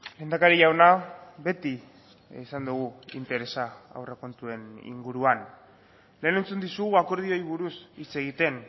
lehendakari jauna beti izan dugu interesa aurrekontuen inguruan lehen entzun dizugu akordioei buruz hitz egiten